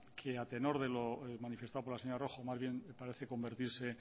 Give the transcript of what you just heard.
que a tenor de lo manifestado por la señora rojo más bien parece convertirse